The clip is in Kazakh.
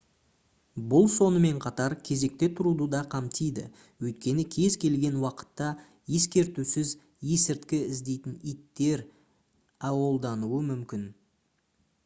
бұл сонымен қатар кезекте тұруды да қамтиді өйткені кез келген уақытта ескертусіз есірткі іздейтін иттер өолданылуы мүмкін